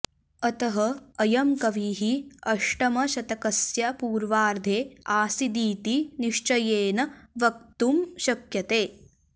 अतः अयं कविः अष्टमशतकस्य पूर्वार्धे आसीदिति निश्चयेन वक्तुं शक्यते